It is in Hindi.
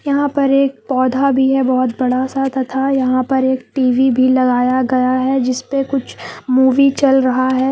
यहां पर एक पौधा भी है बहुत बड़ा सा तथा यहां पर एक टी_वी भी लगाया गया है जिस पे कुछ मूवी चल रहा है।